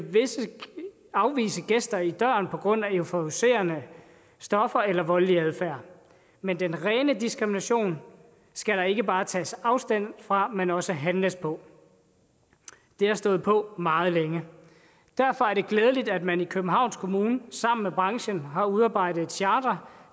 afvise gæster i døren på grund af euforiserende stoffer eller voldelig adfærd men den rene diskrimination skal der ikke bare tages afstand fra men også handles på det har stået på meget længe derfor er det glædeligt at man i københavns kommune sammen med branchen har udarbejdet et charter